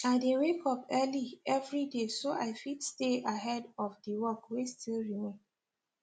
i dey wake up early every day so i fit stay ahead of the work wey still remain